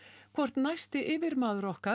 hvort næsti yfirmaður okkar